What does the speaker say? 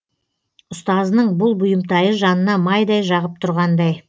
ұстазының бұл бұйымтайы жанына майдай жағып тұрғандай